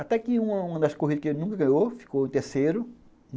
Até que em uma das corridas que ele nunca ganhou, ficou em terceiro.